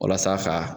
Walasa ka